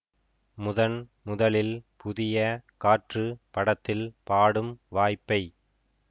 முதன் முதலில் புதிய காற்று படத்தில் பாடும் வாய்ப்பை